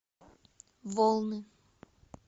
волны